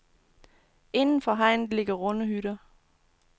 Indenfor hegnet ligger runde hytter.